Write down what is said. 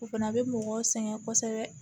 O fana bɛ mɔgɔw sɛgɛn kosɛbɛ